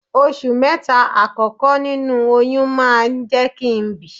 Oṣù mẹ́ta àkọ́kọ́ nínú oyún máa ń jẹ́ kí n bi.